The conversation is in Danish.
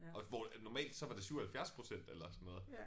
Og hvor at normalt så var det 77% eller sådan noget